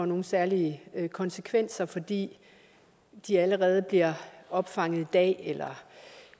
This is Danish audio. nogen særlige konsekvenser fordi de allerede bliver opfanget i dag